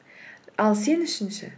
ал сен үшін ше